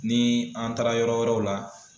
Ni an taara yɔrɔ wɛrɛw la